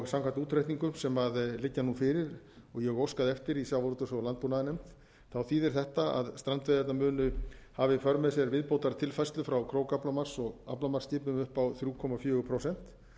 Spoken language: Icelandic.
samkvæmt útreikningum sem nú liggja fyrir og ég hef óskað eftir í sjávarútvegs og landbúnaðarnefnd þýðir þetta að strandveiðarnar munu hafa í för með sér viðbótartilfærslu frá krókaaflamarks og aflamarksskipum upp á þrjú komma fjögur prósent